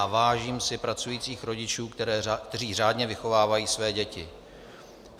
A vážím si pracujících rodičů, kteří řádně vychovávají své děti.